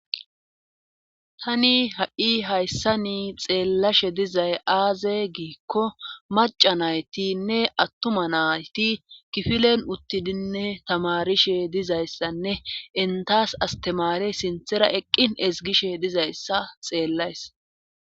Tani ha'i hayssani xeelashe dizay aazee giikko macca naytinne atuma nayti kifilen uttidi tamarishe dizayssanne entas asttamare sinthara eqqin ezggishe dizayssa xeelays.